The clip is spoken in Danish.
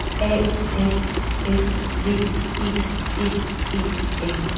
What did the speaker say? A F S V E D E N